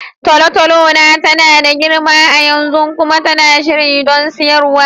Tolotolo na tana da girma a yanzu kuma tana shirye don siyarwa.